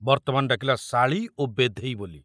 ବର୍ତ୍ତମାନ ଡାକିଲା ଶାଳୀ ଓ ବେଧେଇ ବୋଲି।